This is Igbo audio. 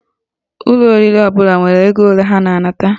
Ụlọ oriri ọbụla nwere ego ole ha na-anata